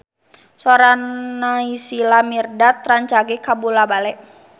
Sora Naysila Mirdad rancage kabula-bale